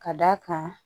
Ka d'a kan